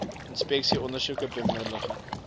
inspeksies ondersoeke bemiddeling